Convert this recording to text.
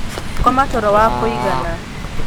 Koma toro wa kūigana.